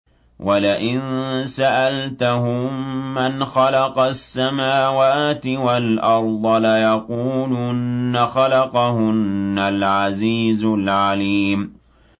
وَلَئِن سَأَلْتَهُم مَّنْ خَلَقَ السَّمَاوَاتِ وَالْأَرْضَ لَيَقُولُنَّ خَلَقَهُنَّ الْعَزِيزُ الْعَلِيمُ